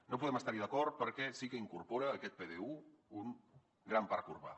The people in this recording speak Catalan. no podem estar hi d’acord perquè sí que incorpora aquest pdu un gran parc urbà